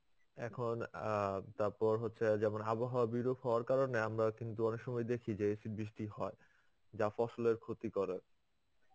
এখন অ্যাঁ তারপর হচ্ছে যেমন আবহাওয়াবিরূপ হওয়ার কারণে আমরা কিন্তু অনেক সময় দেখি যে শিলা বৃষ্টি হয়. যা ফসলের ক্ষতি করে.